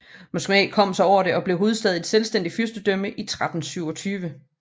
Moskva kom sig over det og blev hovedstad i et selvstændigt fyrstedømme i 1327